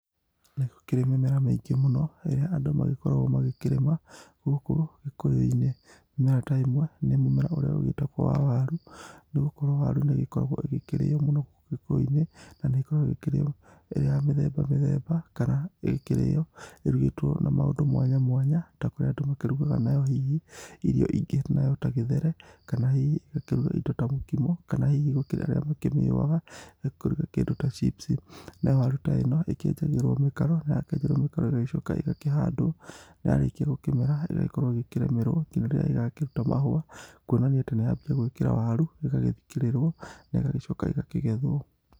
Nĩ gũkĩrĩ mĩmera mĩingĩ mũno ĩrĩa andũ magĩkoragwo ma gĩkĩrĩma gũkũ gĩkũyũ-inĩ. Mĩmera ta ĩno nĩ mũmera ũrĩa ũgĩtagũo wa waru, nĩ gũkorwo waru nĩ ĩgĩkoragwo ĩgĩkĩrĩo mũno gũkũ gĩkũyũ-inĩ na nĩ koragwo ĩ kĩrĩyo ĩ ya mĩthembamĩthemba kana ĩkĩrĩyo ĩrugĩtwo na maundũ mwanya mwanya ta kũrĩ andũ makĩrugaga na yo hihi irio ingĩ ta gĩthere kana hihi igakĩruga irio ingĩ ta mũkimo kana gũkĩrĩ arĩa angĩ makĩ mĩũaga ya kũruga kĩndũ ta chips. Nayo waru ta ĩno ĩkĩenjagĩrwo mĩkaro na ya kĩenjerwo mĩkaro ĩgagĩcoka ĩgakĩhandwo na ya rĩkia gũkĩmera ĩgagĩkorwo ĩkĩrĩmĩrwo ngina rĩrĩa ĩgakĩruta mahũa kwonania atĩ nĩ yambĩrĩria gũgĩkĩra waru ĩgagĩthikĩrĩrwo na ĩgagĩcoka ĩgakĩgethwo.